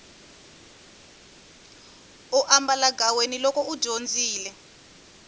u ambalagaweni loko u dyondzile